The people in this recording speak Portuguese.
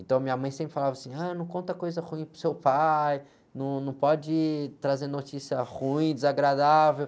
Então, minha mãe sempre falava assim, ah, não conta coisa ruim para o seu pai, num, não pode trazer notícia ruim, desagradável.